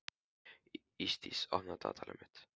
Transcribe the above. Ísdís, opnaðu dagatalið mitt.